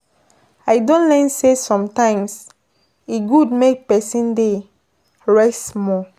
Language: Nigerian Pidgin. I don learn sey sometimes, e good make pesin dey rest small.